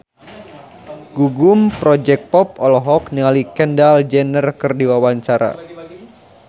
Gugum Project Pop olohok ningali Kendall Jenner keur diwawancara